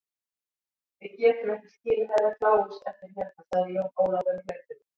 Við getum ekki skilið Herra Kláus eftir hérna, sagði Jón Ólafur á hlaupunum.